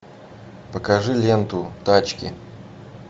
покажи ленту тачки